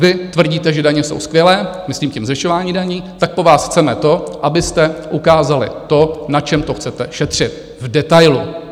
Vy tvrdíte, že daně jsou skvělé, myslím tím zvyšování daní, tak po vás chceme to, abyste ukázali to, na čem to chcete šetřit v detailu.